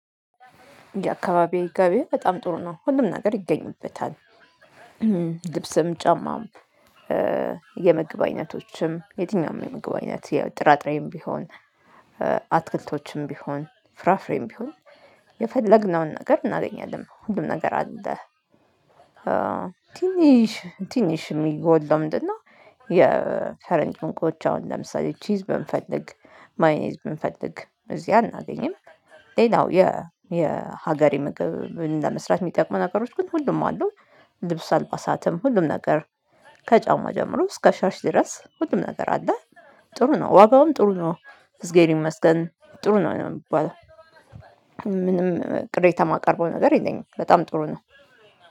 የአካባቢው ገበያ በጣም ጥሩ ነው ሁሉም ነገር ይገኝበታል። ልብስም ጫማም የምግብ አይነቶችም የትኛውም የምግብ አይነት ያው ጥራጥሬም ቢሆን አትክልቶችም ቢሆን ፍራፍሬም ቢሆን የፈለግነውን ነገር እናገኛለን ሁሉም ነገር አለ። ትንሽ ትንሽ የሚጎድለው ምንድነው? የፈረንጅ ምግቦች አሁን ለምሳሌ ቺዝ ብንፈልግ ማዮኔዝ ብንፈልግ እዚህ አናገኝም። ሌላው የ የሀገሬ ምግብ ለመስራት የሚጠቅመው ነገሮች ግን ሁሉም አሉ። ልብስ አልባ ሰዓትም ሁሉም ነገር ከጫማ ጀምሮ እስከ ሻሽ ድረስ ሁሉም ነገር አለ። ጥሩ ነው ዋጋውም ጥሩ ነው። እዝጌር ይመስገን ጥሩ ነው የሚባለው። ምንም ቅሬታ የማቀርበው ነገር የለኝም በጣም ጥሩ ነው